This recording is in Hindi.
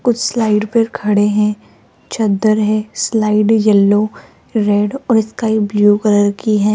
कुछ स्लाइड पर खड़े है चद्दर है स्लाइड येलो रेड और स्काई ब्ल्यू कलर की है।